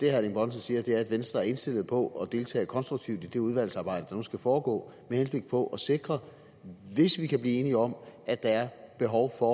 erling bonnesen siger er at venstre er indstillet på at deltage konstruktivt i det udvalgsarbejde der nu skal foregå med henblik på at sikre hvis vi kan blive enige om at der er behov for